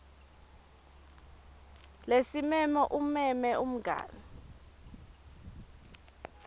lesimemo umeme umngani